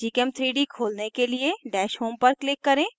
gchem3d खोलने के लिए dash home पर click करें